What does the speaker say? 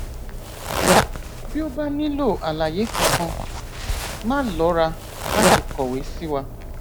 bí o bá nílò àlàyé kankan máà lọra láti kọwé sí wa